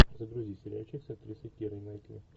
загрузи сериальчик с актрисой кирой найтли